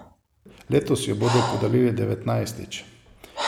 Letos jo bodo podelili devetnajstič.